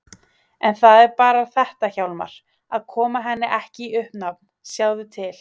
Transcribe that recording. En það er bara þetta Hjálmar: Að koma henni ekki í uppnám, sjáðu til.